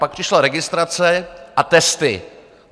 Pak přišla registrace a testy.